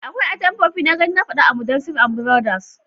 Akwai atamfofi na gani na fada a Mudassair and Biroda